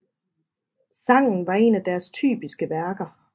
Sangen var en af deres typiske værker